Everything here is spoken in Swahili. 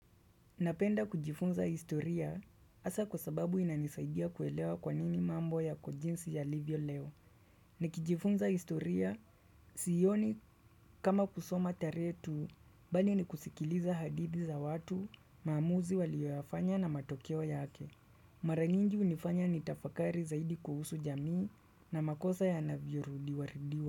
Napenda kujifunza historia hasa kwa sababu inanisaidia kuelewa kwa nini mambo yako jinsi yalivyo leo. Nikijifunza historia sioni kama kusoma tarehe tu bali nikusikiliza hadithi za watu maamuzi walioyafanya na matokeo yake. Mara nyingi hunifanya nitafakari zaidi kuhusu jamii na makosa yanavyorudiwarudiwa.